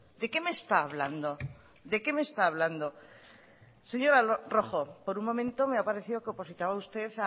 de qué me está hablando de qué me está hablando señora rojo por un momento me ha parecido que opositaba usted